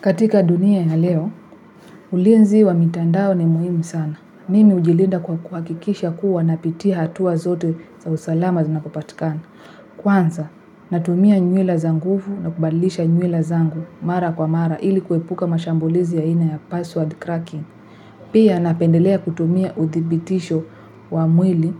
Katika dunia ya leo, ulinzi wa mitandao ni muhimu sana. Mimi hujilinda kwa kuhakikisha kuwa napitia hatua zote za usalama zinakopatikana. Kwanza, natumia nywila za nguvu na kubadlisha nywila zangu mara kwa mara ili kuepuka mashambulizi ya aina ya password cracking. Pia napendelea kutumia uthibitisho wa mwili